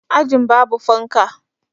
Ajin babu fanka